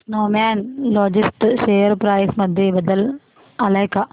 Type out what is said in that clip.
Snowman logistics share price मध्ये बदल आलाय का